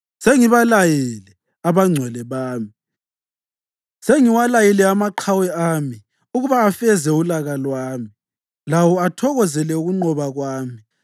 Sengibalayile abangcwele bami, sengiwalayile amaqhawe ami ukuba afeze ulaka lwami, lawo athokozela ukunqoba kwami.